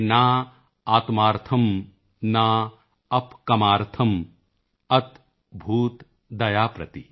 ਨ ਆਤਮਾਰਥਮ੍ ਨ ਅਪਿ ਕਾਮਾਰਥਮ੍ ਅਤਭੂਤ ਦਯਾਂ ਪ੍ਰਤਿ